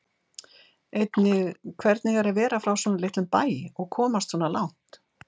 Einnig hvernig er að vera frá svona litlum bæ og komast svona langt?